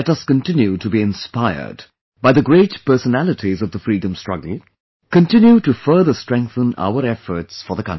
Let us continue to be inspired by the great personalities of the freedom struggle, continue to further strengthen our efforts for the country